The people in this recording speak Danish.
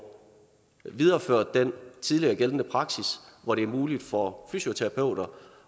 videreført den tidligere gældende praksis hvor det er muligt for fysioterapeuter